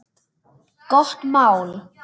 Gott mál.